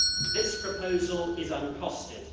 This proposal is uncosted.